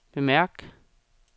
bemærk